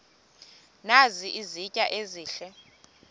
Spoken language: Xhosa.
nazi izitya ezihle